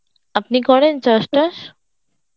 আপনি করেন চাস টাস?